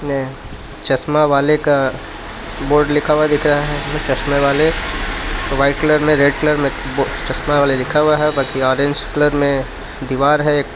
ने चश्मा वाले का बोर्ड लिखा हुआ दिख रहा है चश्मे वाले व्हाइट कलर में रेड कलर में चश्मा वाले लिखा हुआ है ऑरेंज कलर में दीवार है एक.